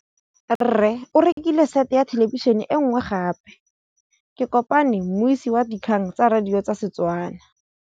Rre o rekile sete ya thêlêbišênê e nngwe gape. Ke kopane mmuisi w dikgang tsa radio tsa Setswana.